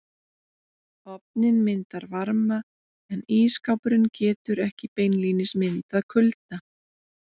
Ofninn myndar varma en ísskápurinn getur ekki beinlínis myndað kulda.